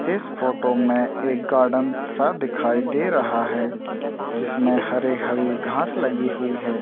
इस फोटो में एक गार्डन सा दिखाई दे रहा है जिसमें हरे हरी घांस लगी हुई है।